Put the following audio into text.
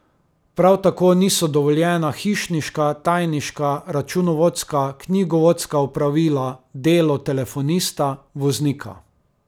Prav tako niso dovoljena hišniška, tajniška, računovodska, knjigovodska opravila, delo telefonista, voznika...